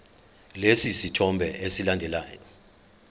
lesi sithombe esilandelayo